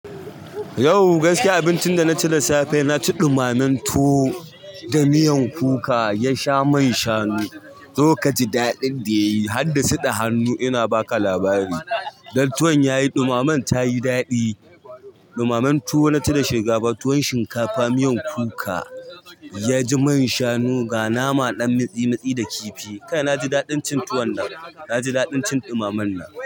Yau gaskiya abincin da na ci da safe na ci ɗumamen tuwo, da miyan kuka. Ya sha mai shanu, zo ka ji daɗin da yayi hadda su ɗe hannu, ina baka labari. Don tuwon ya yi, ɗumamen ta yi daɗi. Ɗumamen tuwo na ci da shinkafa, tuwon shinkafa miyan kuka. Ya ji mai shanu ga nama, ɗan mitsi-mitsi da kifi. Kai na ji daɗin cin tuwon nan, na ji daɗin cin ɗumamen nan.